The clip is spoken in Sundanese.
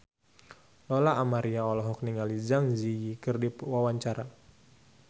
Lola Amaria olohok ningali Zang Zi Yi keur diwawancara